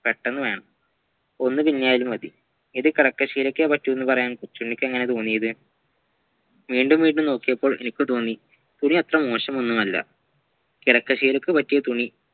പെട്ടന്ന് വേണം ഒന്നുതുന്നിയാലും മതി ഇത് കിടക്കശീലക്കേപറ്റുള്ളുവെന്ന് പറയാൻ കൊച്ചുണ്ണിക്ക് എങ്ങനെ തോന്നിയത് വീണ്ടും വീണ്ടും നോക്കിയപ്പോൾ എനിക്കും തോന്നി തുണി അത്ര മോശമൊന്നുമല്ല കിടക്കശീലക്കുപറ്റിയാത്തുണി